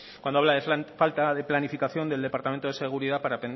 cuando habla de falta de planificación del departamento de seguridad para